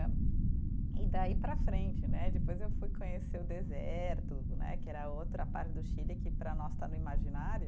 E daí para frente né, depois eu fui conhecer o deserto né, que era outra parte do Chile que para nós está no imaginário.